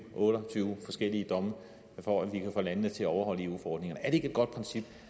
otte og tyve forskellige domme for at vi kan få landene til at overholde eu forordningerne er det ikke et godt princip